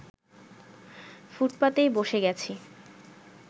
ফুটপাতেই বসে গেছি